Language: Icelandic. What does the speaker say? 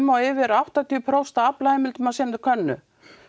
og yfir áttatíu prósent af aflaheimildum á sinni könnu